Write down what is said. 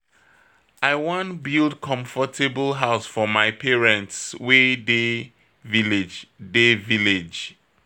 I wan build comfortable house for my parents wey dey village. dey village.